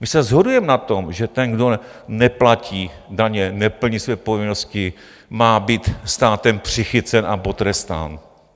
My se shodujeme na tom, že ten, kdo neplatí daně, neplní své povinnosti, má být státem přichycen a potrestán.